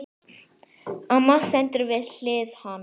Amma stendur við hlið hans.